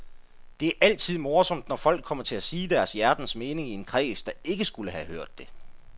Det er altid morsomt, når folk kommer til at sige deres hjertens mening i en kreds, der ikke skulle have hørt det.